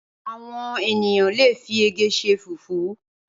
Awòn éniyàn lé fi ègè ṣè fúfù